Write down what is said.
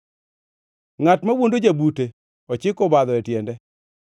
Ngʼat mawuondo jabute ochiko obadho e tiende.